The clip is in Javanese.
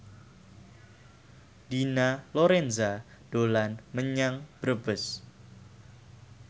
Dina Lorenza dolan menyang Brebes